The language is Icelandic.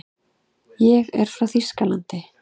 Ég er frá Þýskalandi.